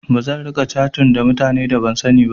Bazan riƙa catin ta mutane da ban sani ba.